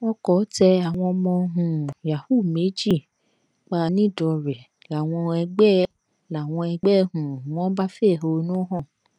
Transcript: ọkọ tẹ àwọn ọmọ um yahoo méjì pa nìdánrẹ làwọn ẹgbẹ làwọn ẹgbẹ um wọn bá fẹhónú hàn